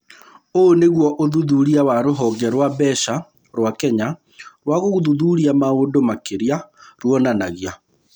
Ũguo nĩguo ũthuthuria wa Rũhonge rwa Mbeca rwa Kenya rwa gũthuthuria maũndũ makĩria rwonanagia.